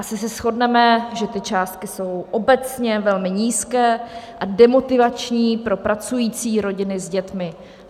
Asi se shodneme, že ty částky jsou obecně velmi nízké a demotivační pro pracující rodiny s dětmi.